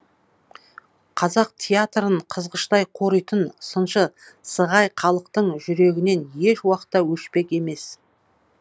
қазақ театрын қызғыштай қоритын сыншы сығай халықтың жүрегінен еш уақытта өшпек емес